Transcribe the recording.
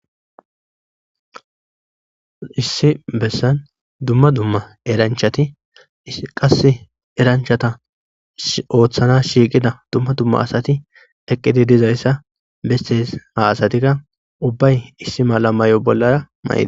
Issi bessan dumma dumma eranchati qasse eranchatatassi oothasi shiiqida dumma dumma asati eqqidi dizaysa besses,ha asatika ubbay issi mala mayo mayid bollaraka..